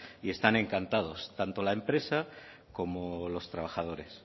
y están encantados tanto la empresa como los trabajadores